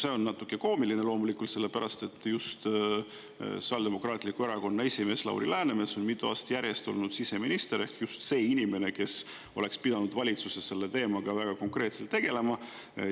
See on natuke koomiline, loomulikult sellepärast, et just Sotsiaaldemokraatliku Erakonna esimees Lauri Läänemets on mitu aastat järjest olnud siseminister ehk just see inimene, kes oleks pidanud valitsuses selle teemaga väga konkreetselt tegelema.